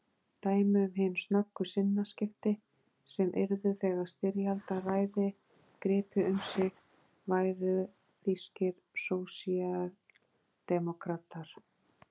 Dæmi um hin snöggu sinnaskipti sem yrðu þegar styrjaldaræði gripi um sig væru þýskir sósíaldemókratar.